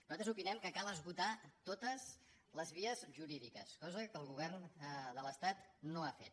nosaltres opinem que cal esgotar totes les vies jurí·diques cosa que el govern de l’estat no ha fet